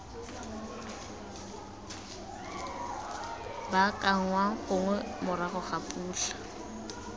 baakanngwang gongwe morago ga dipula